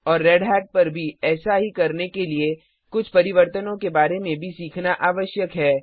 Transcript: और रेढ़त पर भी ऐसा ही करने के लिए कुछ परिवर्तनो के बारे में भी सीखना आवश्यक है